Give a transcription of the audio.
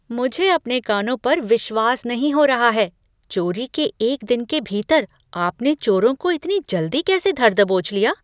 मुझे अपने कानों पर विश्वास नहीं हो रहा है। चोरी के एक दिन के भीतर आपने चोरों को इतनी जल्दी कैसे धर दबोच लिया?